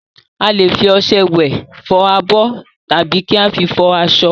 A lè fi ọṣẹ wẹ̀, fọ abọ́, tàbí kí a fi fọ aṣọ.